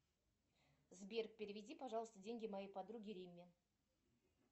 сбер переведи пожалуйста деньги моей подруге римме